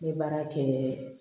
N ye baara kɛ